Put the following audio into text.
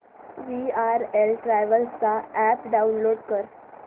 VRL travels चा app download कर